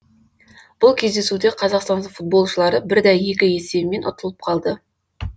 бұл кездесуде қазақстан футболшылары бір дә екі есебімен ұтылып қалды